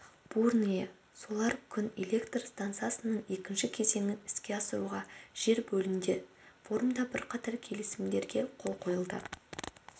бурное солар күн электр стансасының екінші кезеңін іске асыруға жер бөлінді форумда бірқатар келісімдерге қол қойылды